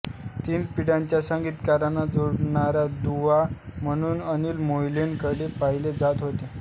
तीन पिढ्यांच्या संगीतकारांना जोडणारा दुवा म्हणून अनिल मोहिलेंकडे पाहिले जात होते